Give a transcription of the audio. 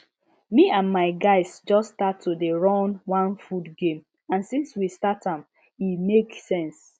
me and my guys just start to dey run one food game and since we start am e make sense